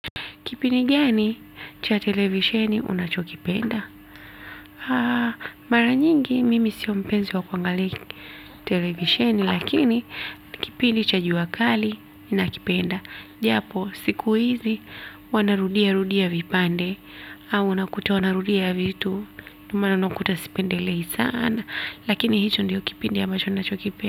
Kipindi gani cha televisheni unachokipenda? Mara nyingi mimi sio mpenzi wa kuangali televisheni lakini kipindi cha jua kali ninakipenda. Japo siku hizi wana rudia rudia vipande au unakuta wana rudia vitu ndo maana unakuta sipendelei sana lakini hicho ndio kipindi ambacho ninacho kipenda.